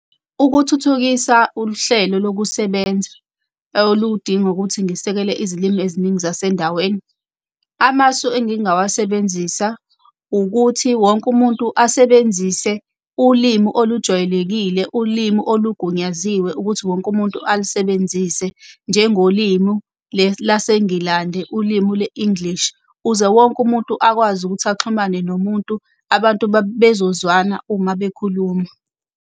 Ukuthuthukisa uhlelo lokusebenza oludinga ukuthi ngisekele izilimi eziningi zasendaweni. Amasu engingawasebenzisa ukuthi wonke umuntu asebenzise ulimi olujwayelekile, ulimi olugunyaziwe ukuthi wonke umuntu alisebenzise njengolimu leli laseNgilande ulimu, le-English. Ukuze wonke umuntu akwazi ukuthi axhumane nomuntu, abantu bezozwana uma bekhuluma.